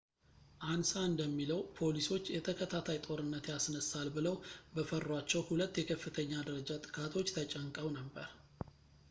አንሳ እንደሚለው ፖሊሶች የተከታታይ ጦርነት ያስነሳል ብለው በፈሯቸው ሁለት የከፍተኛ ደረጃ ጥቃቶች ተጨንቀው ነበር